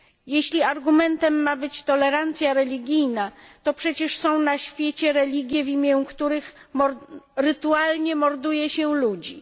Jeśli argumentem ma być tolerancja religijna, to przecież są na świecie religie, w imię których rytualnie morduje się ludzi.